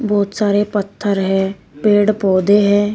बहुत सारे पत्थर है पेड़ पौधे हैं।